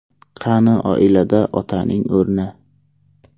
Qani oilada otaning o‘rni?